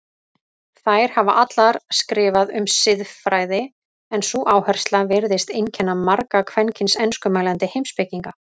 Þær hafa allar skrifað um siðfræði en sú áhersla virðist einkenna marga kvenkyns enskumælandi heimspekinga.